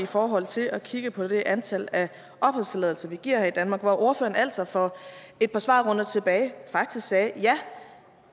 i forhold til at kigge på det antal af opholdstilladelser vi giver her i danmark hvor ordføreren altså for et par svarrunder tilbage faktisk sagde at ja